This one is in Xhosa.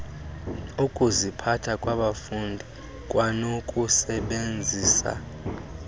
ukuziphatha kwabafundi kwanokusebenzisana